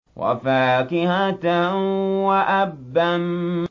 وَفَاكِهَةً وَأَبًّا